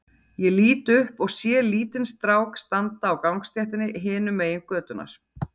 Ég lít upp og sé lítinn strák standa á gangstéttinni hinum megin götunnar.